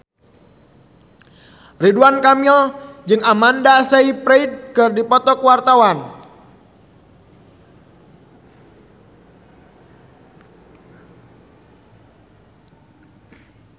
Ridwan Kamil jeung Amanda Sayfried keur dipoto ku wartawan